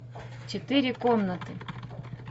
четыре комнаты